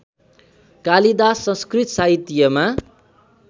Kalidas संस्कृतसाहित्यमा